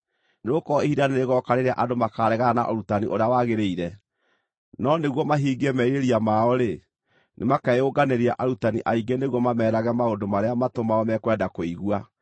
Nĩgũkorwo ihinda nĩrĩgooka rĩrĩa andũ makaaregana na ũrutani ũrĩa wagĩrĩire. No nĩguo mahingie merirĩria mao-rĩ, nĩmakeyũnganĩria arutani aingĩ nĩguo mameerage maũndũ marĩa matũ mao mekwenda kũigua.